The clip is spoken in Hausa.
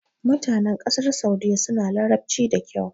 Mutanen ƙasar Saudiyya suna Larabci da kyau.